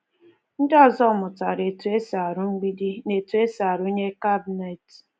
Ndị ọzọ mụtara etu e si arụ mgbidi na etu e si arụnye kabịnet.